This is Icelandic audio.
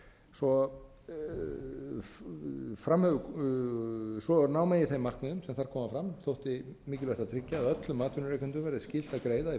átta um réttindi launafólks svo ná megi þeim markmiðum sem þar koma fram þótti mikilvægt að tryggja að öllum atvinnurekendum verði skylt að greiða í